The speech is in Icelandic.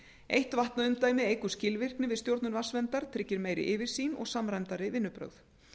eitt vatnaumdæmi eykur skilvirkni við stjórnun vatnsverndar tryggir meiri yfirsýn og samræmdari vinnubrögð